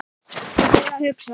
Ég fór að hugsa.